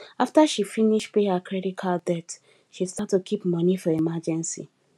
after she finish pay her credit card debt she start to keep money for emergency